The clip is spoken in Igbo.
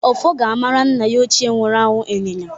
Ọfọ ga-amara nna ya ochie nwuru anwụ ịnyịnya.